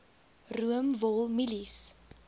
room wol mielies